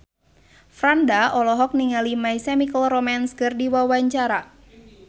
Franda olohok ningali My Chemical Romance keur diwawancara